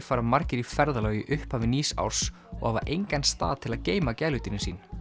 fara margir í ferðalög í upphafi nýs árs og hafa engan stað til að geyma gæludýrin sín